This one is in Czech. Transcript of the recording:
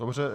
Dobře.